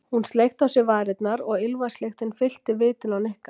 Hún sleikti á sér varirnar og ilmvatnslyktin fyllti vitin á Nikka.